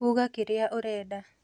Uga kĩrĩa ũrenda